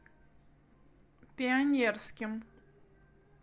пионерским